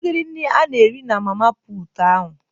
Kedu ụdịdị nri ana ere na mama puutu ahụ?